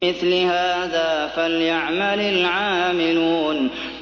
لِمِثْلِ هَٰذَا فَلْيَعْمَلِ الْعَامِلُونَ